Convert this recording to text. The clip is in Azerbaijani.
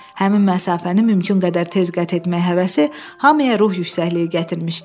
Həmin məsafəni mümkün qədər tez qət etmək həvəsi hamıya ruh yüksəkliyi gətirmişdi.